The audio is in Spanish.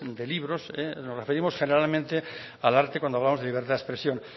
de libros nos referimos generalmente al arte cuando hablamos de libertad de expresión